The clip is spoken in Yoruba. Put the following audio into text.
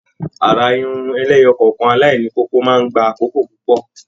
Àrà Irun ẹlẹ́yọọkan alaini kókó máa n gbà àkókò púpọ.